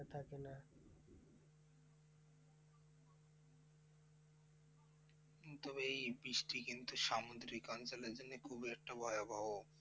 হম তবে এই বৃষ্টি কিন্তু সামুদ্রিক অঞ্চলের জন্য খুবই একটা ভয়াবহ।